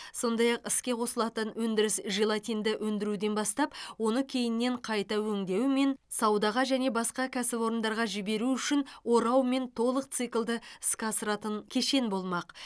сондай ақ іске қосылатын өндіріс желатинді өндіруден бастап оны кейіннен қайта өңдеумен саудаға және басқа кәсіпорындарға жіберу үшін ораумен толық циклды іске асыратын кешен болмақ